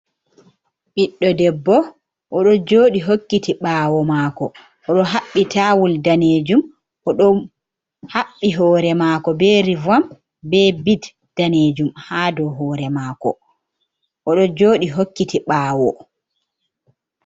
Biɗdo ɗebbo oɗo joɗi hokkiti ɓawo maako. Oɗo habbi tawol ɗanejum. Oɗo habbi hore mako be rivom, be bit ɗanejum ha ɗow hore maako. Oɗo joɗi hokkiti ɓawo.